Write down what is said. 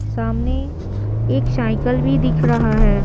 सामने एक साइकिल भी दिख रहा है।